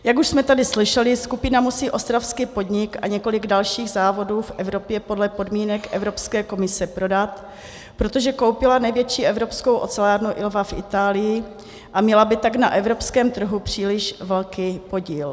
Jak už jsme tady slyšeli, skupina musí ostravský podnik a několik dalších závodů v Evropě podle podmínek Evropské komise prodat, protože koupila největší evropskou ocelárnu Ilva v Itálii, a měla by tak na evropském trhu příliš velký podíl.